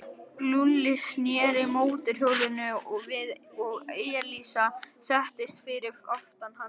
Lúlli sneri mótorhjólinu við og Elísa settist fyrir aftan hann.